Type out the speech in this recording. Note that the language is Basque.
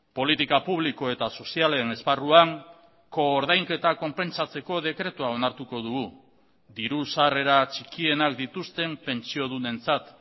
politika publiko eta sozialen esparruan koordainketa konpentsatzeko dekretua onartuko dugu diru sarrera txikienak dituzten pentsiodunentzat